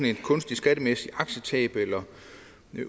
et kunstigt skattemæssigt aktietab